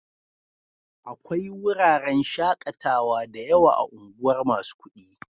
Akwai wuraren shaƙatawa da yawa a unguwar masu kuɗi.